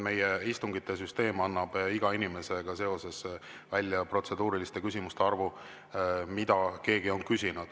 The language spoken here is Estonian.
Meie istungisüsteem annab iga inimese kohta protseduuriliste küsimuste arvu.